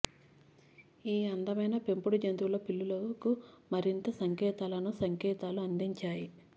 ఈ అందమైన పెంపుడు జంతువుల పిల్లులకు మరింత సంకేతాలను సంకేతాలు అందించాయి